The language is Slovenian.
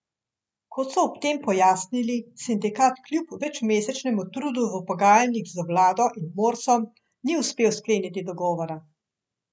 Kot so ob tem pojasnili, sindikat kljub večmesečnemu trudu v pogajanjih z vlado in Morsom ni uspel skleniti dogovora.